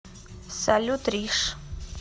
салют риш